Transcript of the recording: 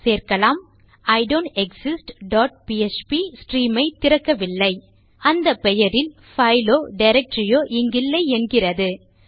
சேர்க்கலாம் I don't exist dot PHP stream ஐ திறக்கவில்லை அந்த பெயரில் பைலோ டிரக்டரியோ இங்கில்லை என்கிறது